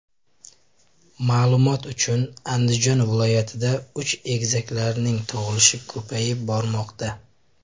Ma’lumot uchun, Andijon viloyatida uch egizaklarning tug‘ilishi ko‘payib bormoqda .